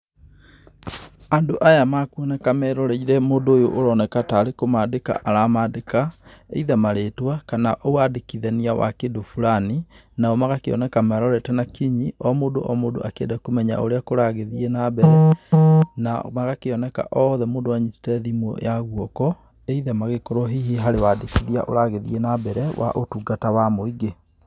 Andũ aya mekuoneka meroreire mũndũ ũyũ ũroneka tarĩ kũmandĩka aramandĩka, either marĩtwa kana wandĩkithania wa kĩndũ fulani, na o magakĩoneka marorete na kinyi o mũndũ o mũndũ akĩenda kũmenya ũrĩa kũragĩthiĩ na mbere na magakĩoneka othe mũndũ anyitĩte thimũ ya gũoko, either magĩkorwo hihi harĩ wandĩkithia ũragĩthiĩ na mbere wa ũtungata wa mũingĩ.